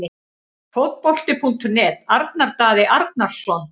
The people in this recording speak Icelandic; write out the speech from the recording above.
Fótbolti.net- Arnar Daði Arnarsson